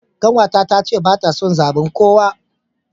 Kanwata tace bata son zaben kowa.